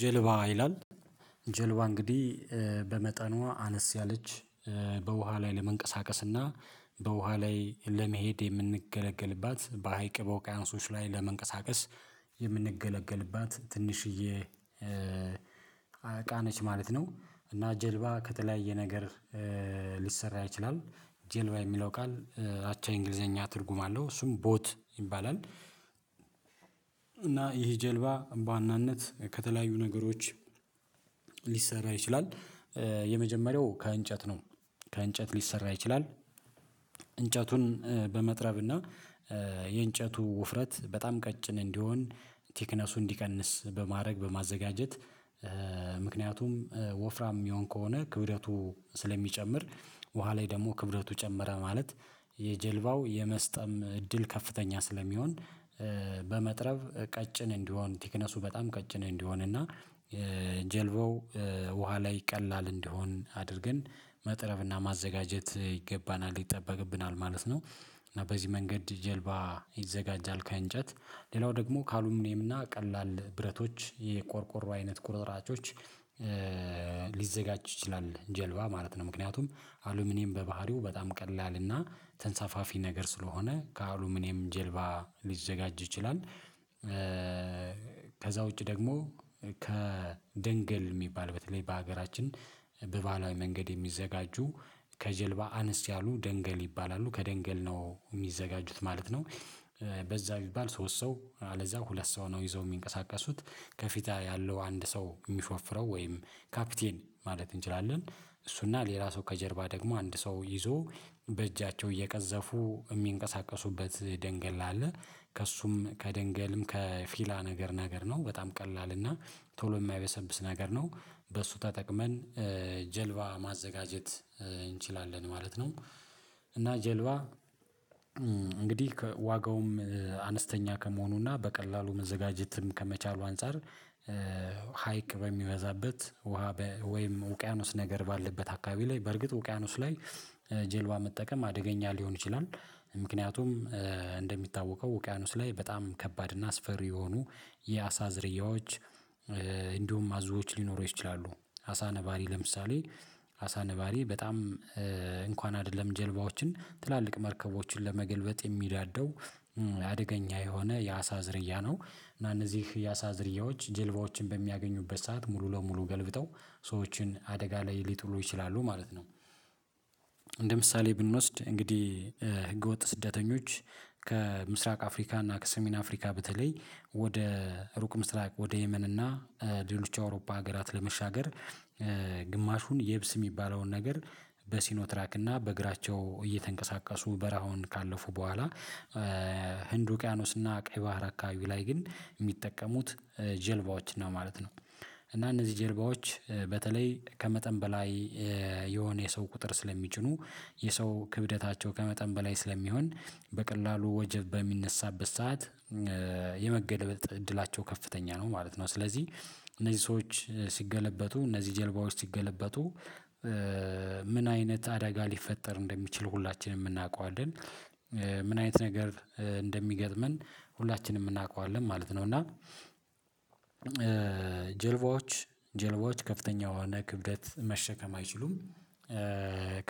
ጀልባ ይላል ጀልባ እንግዲህ በመጠኗ አነስ ያለች በውሃ ላይ ለመንቀሳቀስና በውሃ ላይ ለመሄድ የምንገለገልባት በሀይቅ በውቅያኖሶች ላይ ለመንቀሳቀስ የምንገለገልባት ትንሽዬ እቃ ነች ማለት ነው። እና ጀልባ ከተለያየ ነገር ሊሰራ ይችላል። ጀልባ የሚለው ቃል አቻ የእንግሊዘኛ ትርጉም አለው እሱም ቦት ይባላል። እና ይህ ጀልባ በዋና ነት ከተለያዩ ነገሮች ሊሰራ ይችላል። የመጀመሪያው ከእንጨት ነው ከእንጨት ሊሰራ ይችላል። እንጨቱን በመጥረብ እና የእንጨቱ ውፍረት በጣም ቀጭን እንዲሆን ቴክነሱን እንዲቀንስ በማድረግ በማዘጋጀት ምክንያቱም ወፍራም የሚሆን ከሆነ ክብደቱ ስለሚጨምር ውሃ ላይ ደግሞ ክብደቱ ጨመረ ማለት የጀልባው የመስጠም እድል ከፍተኛ ስለሚሆን። በመጥረብ ቀጭን እንዲሆን ቲክነሱ በጣም ቀጭን እንዲሆን እና ጀልባው ውሃ ላይ ቀላል እንዲሆን አድርገን መጥረፍና ማዘጋጀት ይገባናል ይጠበቅብናል ማለት ነው። እና በዚህ መንገድ ጀልባ ይዘጋጃል ከእንጨት ሌላው ደግሞ ከአሉምኔም እና ቀላል ብረቶች የቆርቆሮ አይነት ቁርጥራጮች ሊዘጋጅ ይችላል። ጀልባ ማለት ነው ምክንያቱም አሉሚኒየም በባህሪው በጣም ቀላል እና ተንሳፋፊ ነገር ስለሆነ ከአሉሚኒየም ጀልባ ሊዘጋጅ ይችላል። ከዛ ውጪ ደግሞ ከድንገል የሚባል በተለይ በሀገራችን በባህላዊ መንገድ የሚዘጋጁ ከጀልባ አነስ ያሉ ደንገል ይባላሉ ከደንገል ነው የሚዘጋጁት ማለት ነው። በዛ ቢባል ሶስት አለዛ ሁለት ሰው ነው ይዘው የሚንቀሳቀሱት ከፊታ ያለው አንድ ሰው የሚሾፍረው ወይም ካፒቴን ማለት እንችላለን እሱና ሌላ ሰው ከጀርባ ደግሞ አንድ ሰው ይዞ በእጃቸው እየቀዘፉ የሚንቀሳቀሱበት ደንገል አለ። ከእሱም ከደንገልም ከፊላ ነገር ነገር ነው በጣም ቀላል እና ቶሎ የማይበሰብስ ነገር ነው። በሱ ተጠቅመን ጀልባ ማዘጋጀት እንችላለን ማለት ነው። እና ጀልባ እንግዲህ ከዋጋውም አነስተኛ ከመሆኑና በቀላሉ መዘጋጀትም ከመቻሉ አንፃር ሀይቅ በሚበዛበት ውሃ ወይም ውቅያኖስ ነገር ባለበት አካባቢ ላይ በርግጥ ውቅያኖስ ላይ ጀልባ መጠቀም አደገኛ ሊሆን ይችላል። ምክንያቱም እንደሚታወቀው ውቅያኖስ ላይ በጣም ከባድ እና አስፈሪ የሆኑ የአሳ ዝርያዎች እንዲሁም አዞዎች ሊኖሩ ይችላሉ አሳ ነባሪ ለምሳሌ አሳ ነባሪ በጣም እንኳን አይደለም ጀልባዎችን ትላልቅ መርከቦችን ለመገልበጥ የሚዳደው አደገኛ የሆነ የአሳ ዝርያ ነው እና እነዚህ የአሳ ዝርያዎች ጀልባዎችን በሚያገኙበት ሰዓት ሙሉ ለሙሉ ገልብጠው ሰዎችን አደጋ ላይ ሊጥሉ ይችላሉ ማለት ነው። እንደ ምሳሌ ብንወስድ እንግዲህ ህገወጥ ስደተኞች ከምስራቅ አፍሪካ እና ከሰሜን አፍሪካ ብትለይ ወደ ሩቅ ምስራቅ ወደ የመን እና ሌሎች አውሮፓ ሀገራት ለመሻገር ግማሹን የብስ የሚባለውን ነገር በሲኖ ትራክ እና በእግራቸው እየተንቀሳቀሱ በረሃውን ካለፉ በኋላ ህንድ ውቅያኖስ እና ቀይ ባህር አካባቢ ላይ ግን የሚጠቀሙት ጀልባዎች ነው ማለት ነው። እና እነዚህ ጀልባዎች በተለይ ከመጠን በላይ የሆነ የሰው ቁጥር ስለሚጭኑ የሰው ክብደታቸው ከመጠን በላይ ስለሚሆን በቀላሉ ወጀብ በሚነሳበት ሰዓት የመገልበጥ እድላቸው ከፍተኛ ነው ማለት ነው። ስለዚህ እነዚህ ሰዎች ሲገለበጡ እነዚህ ጀልባዎች ሲገለበጡ ምን አይነት አደጋ ሊፈጠር እንደሚችል ሁላችንም እናውቀዋለን። ምን አይነት ነገር እንደሚገጥመን ሁላችንም እናውቀዋለን ማለት ነው። እና ጀልባዎች ጀልባዎች ከፍተኛ የሆነ ክብደት መሸከም አይችሉም።